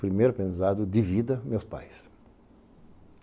Primeiro pensado, de vida, meus pais.